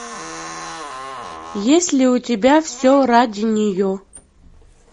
есть ли у тебя все ради нее